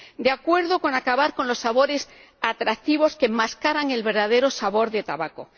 de acuerdo con acabar con los sabores atractivos que enmascaran el verdadero sabor del tabaco